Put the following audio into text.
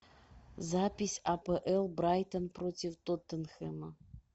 запись апл брайтон против тоттенхэма